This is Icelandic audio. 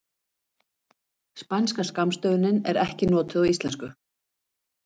Spænska skammstöfunin er ekki notuð á íslensku.